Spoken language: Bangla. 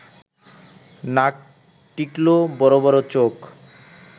নাক টিকলো, বড় বড় চোখ